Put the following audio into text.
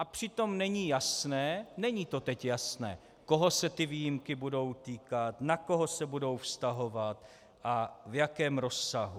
A přitom není jasné, není to teď jasné, koho se ty výjimky budou týkat, na koho se budou vztahovat a v jakém rozsahu.